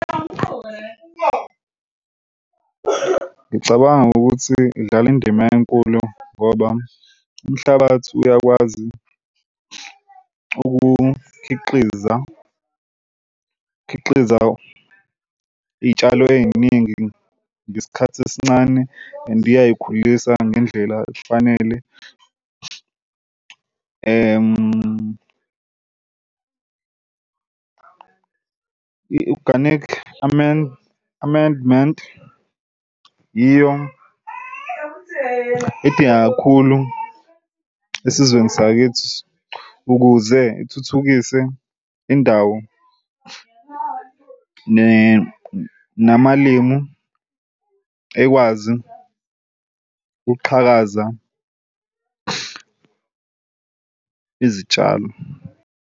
Ngicabanga ukuthi udlale indima enkulu ngoba umhlabathi uyakwazi ukukhiqiza khiqiza iy'tshalo ey'ningi ngesikhathi esincane and iyayikhulisa ngendlela efanele. I-organic amendment yiyo edingeka kakhulu esizweni sakithi ukuze ithuthukise indawo namalimu ekwazi ukuqhakaza izitshalo.